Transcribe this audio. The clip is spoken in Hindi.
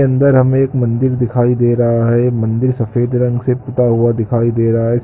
अंदर हमे एक मन्दिर दिखाई दे रहा है मन्दिर सफेद रंग से पुता हुआ दिखाई दे रहा है।